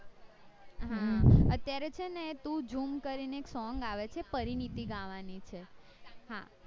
અત્યારે છેને તું જુમ કરીને song આવે છે પરીનીતી ગાવાની છે હા